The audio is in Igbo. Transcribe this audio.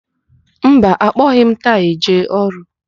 Mba, akpọghị m taị jee ọrụ.